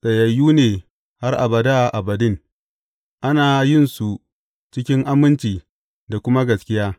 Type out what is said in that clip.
Tsayayyu ne har abada abadin, ana yinsu cikin aminci da kuma gaskiya.